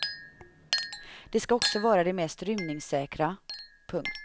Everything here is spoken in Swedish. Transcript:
Det ska också vara det mest rymningssäkra. punkt